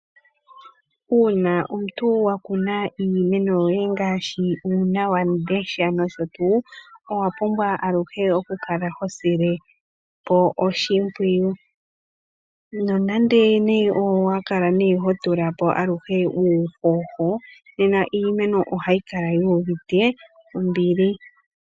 Uuna omuntu wakuna iimeno yoye ngaashi uuna wamundesha nosho tuu, owa pumbwa aluhe okukala hosile po oshimpwiwu. Nonande owa kala ne ho tula po aluhe uuhoho, nena iimeno ohayi kala yuuvite ombili.